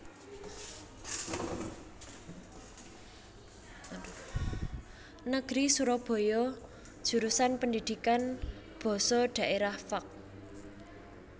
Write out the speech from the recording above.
Negeri Surabaya Jurusan Pendidikan Basa Daerah Fak